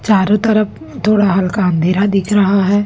चारों तरफ थोड़ा हल्का अंधेरा दिख रहा है।